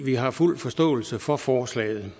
vi har fuld forståelse for forslaget